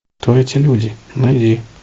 кто эти люди найди